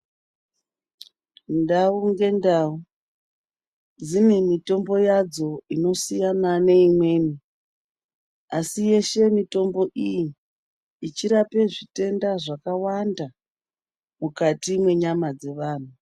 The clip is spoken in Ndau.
Ndau ngendau dzine mitombo yadzo inosiyana neimweni asi yeshe mitombo iyi ichirape zvitenda zvakawanda mukati mwenyama dzevantu.